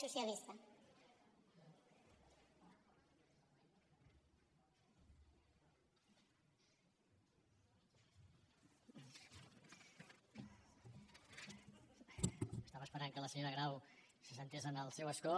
estava esperant que la senyora grau s’assegués en el seu escó